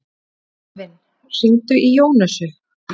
Eivin, hringdu í Jónösu.